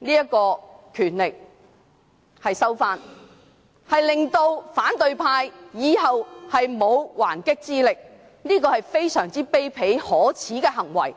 要收回權力，令到反對派以後沒有還擊之力，這是非常卑鄙可耻的行為。